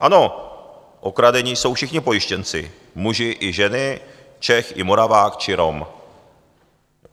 Ano, okradeni jsou všichni pojištěnci, muži i ženy, Čech i Moravák či Rom.